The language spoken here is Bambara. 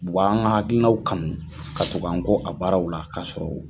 U b'an ka hakilinaw kanu ka tuku an gɔ a baaraw la ka sɔrɔ